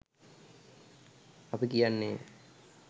අපි කියන්නේය.